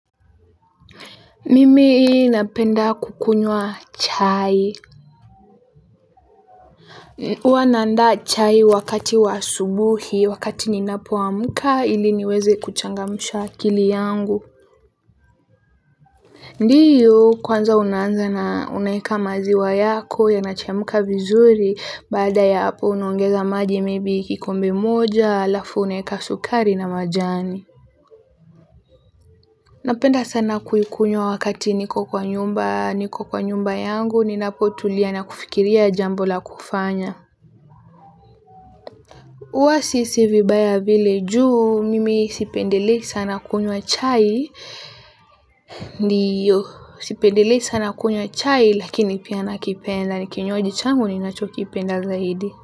Mimi napenda kukunywa chai. Huwa naandaa chai wakati wa asubuhi wakati ninapoamka ili niweze kuchangamsha akili yangu. Ndiyo kwanza unaanza na unaweka maziwa yako yanachemka vizuri baada ya hapo unaongeza maji maybe kikombe moja alafu unaeka sukari na majani. Napenda sana kuikunywa wakati niko kwa nyumba, niko kwa nyumba yangu, ninapotulia na kufikiria jambo la kufanya. Huwa sihisi vibaya vile juu, mimi sipendelei sana kunywa chai, ndiyo sipendelei sana kunywa chai lakini pia nakipenda, ni kinywaji changu ninachokipenda zaidi.